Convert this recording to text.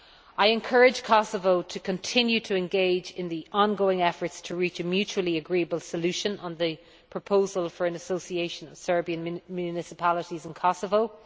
I encourage Kosovo to continue to engage in the ongoing efforts to reach a mutually agreeable solution on the proposal for an Association of Serbian Municipalities in Kosovo.